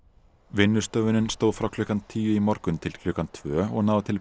vinnustöðvunin stóð frá klukkan tíu í morgun til klukkan tvö og náði til